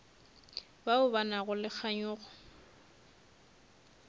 bao ba nago le kganyogo